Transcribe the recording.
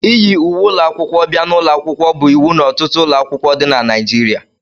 iyi uwe ụlọ akwụkwọ bia n'ụlọ akwụkwọ bụ iwu n'ọtụtụ ụlọ akwụkwọ dị na Naịjirịa